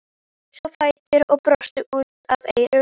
Hún reis á fætur og brosti út að eyrum.